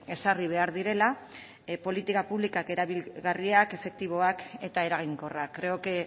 ezarri behar direla politika publikok erabilgarriak efektiboak eta eraginkorrak creo que